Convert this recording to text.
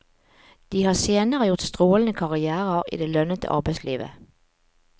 De har senere gjort strålende karrièrer i det lønnede arbeidslivet.